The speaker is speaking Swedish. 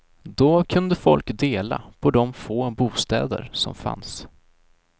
Då kunde folk dela på de få bostäder som fanns.